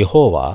యెహోవా